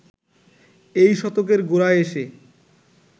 এই শতকের গোড়ায় এসে